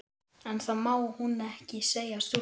En það má hún ekki segja stúlkunni.